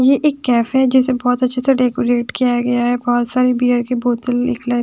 ये एक कैफे हैजिसे बहुत अच्छे से डेकोरेट किया गया है बहुत सारे बियर के बोतल--